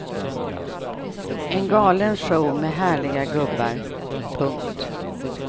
En galen show med härliga gubbar. punkt